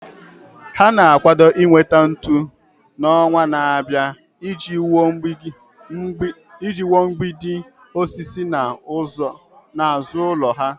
Ha na-akwado inweta ntu n'ọnwa na-abịa iji wuo mgbidi osisi n'azụ ụlọ ha.